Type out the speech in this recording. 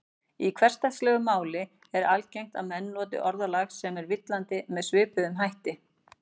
Í hversdagslegu máli er algengt að menn noti orðalag sem er villandi með svipuðum hætti.